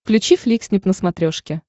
включи фликснип на смотрешке